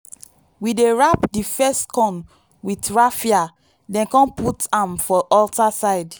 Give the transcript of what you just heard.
we dey wrap di first corn with raffia then come put am for altar side